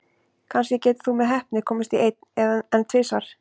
Kannski getur þú með heppni komist í einn, en tvisvar?